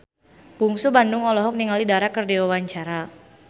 Bungsu Bandung olohok ningali Dara keur diwawancara